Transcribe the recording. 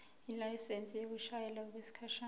ilayisensi yokushayela okwesikhashana